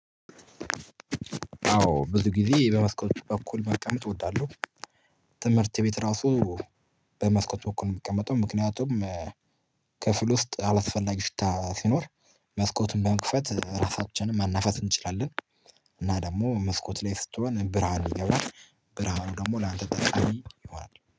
አዎ ብዙ ጊዜ በመስኮት በኩል መቀመጥ እወዳለሁ ትምህርት ቤት ራሱ በመስኮት በኩል ነው የሚቀመጠው ምክንያቱም ክፍል ውስጥ አላስፈላጊ ሽታ ሲኖር መስኮቱን በመክፈት ራሳችንን ማናፋት እንችላለን። እና ደግሞ መስኮት ላይ ስትሆን ብርሃን ይገባል ብርሃኑ ደግሞ ላንቴ ጠቃሚ ይሆናል።